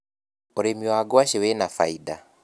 ũrĩmi wa ngwaci wina bainda.